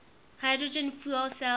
hydrogen fuel cell